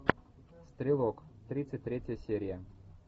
стрелок тридцать третья серия